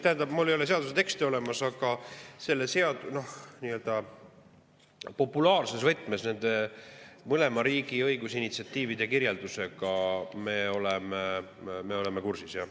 Tähendab, mul ei ole seaduse teksti olemas, aga nii-öelda populaarses võtmes kirjeldusega nende mõlema riigi õigus initsiatiividest me oleme kursis jah.